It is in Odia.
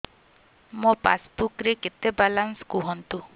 ମୋ ପାସବୁକ୍ ରେ କେତେ ବାଲାନ୍ସ କୁହନ୍ତୁ